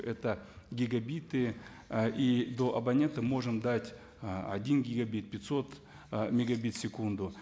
это гигабиты ы и до абонента можем дать ы один гигабит пятьсот ы мегабит в секунду